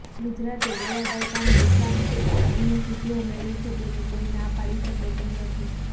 ગુજરાતે ગયા દાયકામાં વિકાસક્ષેત્રે અનેક સિદ્ધિઓ મેળવી છે તેની કોઈ ના પાડી શકે તેમ નથી